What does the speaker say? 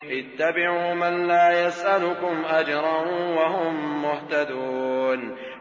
اتَّبِعُوا مَن لَّا يَسْأَلُكُمْ أَجْرًا وَهُم مُّهْتَدُونَ